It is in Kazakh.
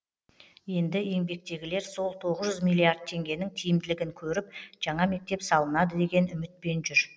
енді еңбектегілер сол тоғыз жүз миллиард теңгенің тиімділігін көріп жаңа мектеп салынады деген үмітпен жүр